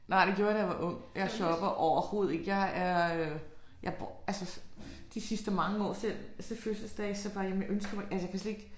Nej det gjorde jeg da jeg var ung. Jeg shopper overhovedet ikke. Jeg er øh jeg bruger jeg altså de sidste mange år selv til fødselsdage så bare jeg ønsker mig jamen jeg kan slet ikke